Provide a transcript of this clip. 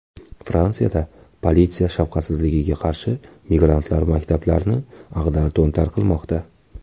Fransiyada politsiya shafqatsizligiga qarshi migrantlar maktablarni ag‘dar-to‘ntar qilmoqda.